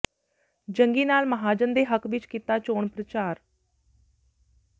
ਜੰਗੀ ਲਾਲ ਮਹਾਜਨ ਦੇ ਹੱਕ ਵਿਚ ਕੀਤਾ ਚੋਣ ਪ੍ਰਚਾਰ